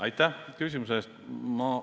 Aitäh küsimuse eest!